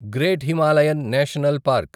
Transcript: great Himalayan National park